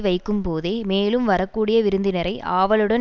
வைக்கும்போதே மேலும் வரக்கூடிய விருந்தினரை ஆவலுடன்